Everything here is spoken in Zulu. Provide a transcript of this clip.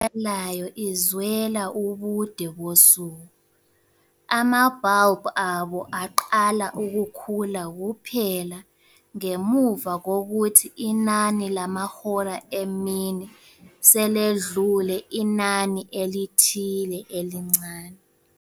I-anyanisi ebulalayo izwela ubude bosuku, ama-bulb abo aqala ukukhula kuphela ngemuva kokuthi inani lamahora emini seledlule inani elithile elincane.